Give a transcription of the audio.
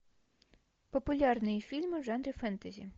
популярные фильмы в жанре фэнтези